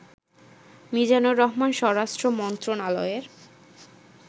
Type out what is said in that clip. মিজানুর রহমান স্বরাষ্ট্র মন্ত্রণালয়ের